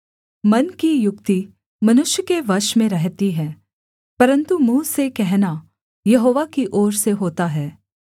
मन की युक्ति मनुष्य के वश में रहती है परन्तु मुँह से कहना यहोवा की ओर से होता है